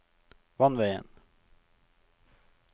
vannveien